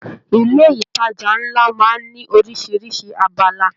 Ilé ìtàjà nlá máa n ní orisirisi abala.